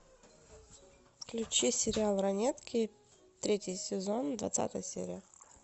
включи сериал ранетки третий сезон двадцатая серия